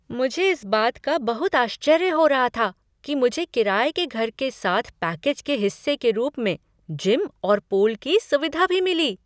मुझे इस बात का बहुत आश्चर्य हो रहा था कि मुझे किराए के घर के साथ पैकेज के हिस्से के रूप में जिम और पूल की सुविधा भी मिली।